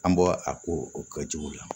An bɔ a ko o kɛ jigiw la